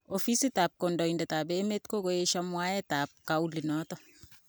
Ofisit tab kondoidet tab emet kokoyesho mwaet tab kaulin noton .